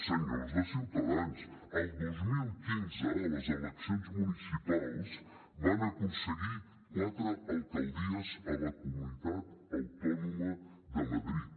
senyors de ciutadans el dos mil quinze a les eleccions municipals van aconseguir quatre alcaldies a la comunitat autònoma de madrid